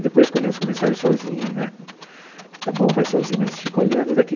E, depois, quando elas começaram a ir sozinha né... Está bom, vai sozinha, mas a gente fica olhando daqui.